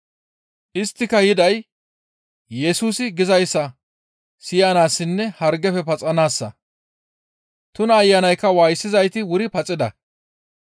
Isttika yiday Yesusi gizayssa siyanaassinne hargefe paxanaassa; tuna ayanaykka waayisizayti wuri paxida.